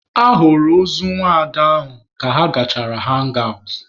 A hụrụ ozu nwaada ahụ ka ha gachara hangi awụt.